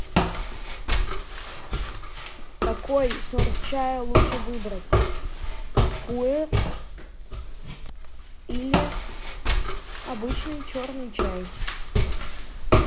какой сорт чая лучше выбрать пуэр или обычный черный чай